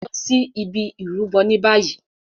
Lọ sí ìbi Ìrúbo ní bayii!